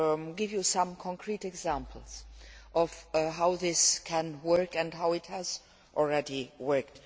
give you some concrete examples of how this can work and how it has already worked.